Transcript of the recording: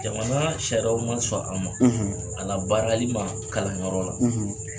Jamana sariyaw man sɔn a ma a labaarali ma kalanyɔrɔ la.